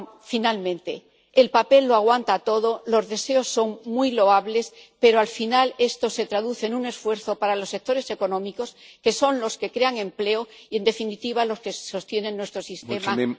Finalmente, el papel lo aguanta todo, los deseos son muy loables, pero al final esto se traduce en un esfuerzo para los sectores económicos que son los que crean empleo y, en definitiva, los que sostienen nuestro sistema.